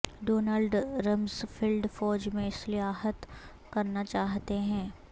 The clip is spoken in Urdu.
ڈونلڈ رمز فلڈ فوج میں اصلاحات کرنا چاہتے ہیں